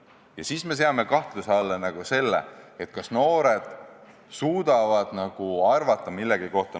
Ja siis me seame kahtluse alla, kas noored suudavad nagu millegi kohta midagi arvata.